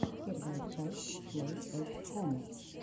первая часть плэй эт хом